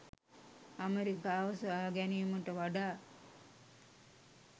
ඇමරිකාව සොයාගැනීමට වඩා